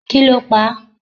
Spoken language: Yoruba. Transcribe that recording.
kí ló pa á?